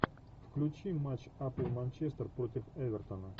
включи матч апл манчестер против эвертона